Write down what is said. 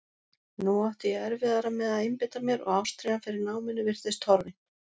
Nú átti ég erfiðara með að einbeita mér og ástríðan fyrir náminu virtist horfin.